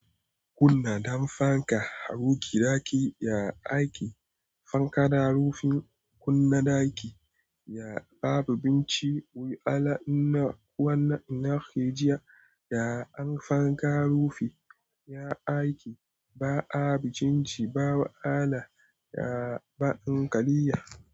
Kunna dam fanka, haruki ɗaki ya ake fankada rufin kunna ɗaki ya babu binciko ala ina wannan ina ke jiya da an fanka rufi ya ake ba abu jinci ba wa ala ya ba'an kaliya.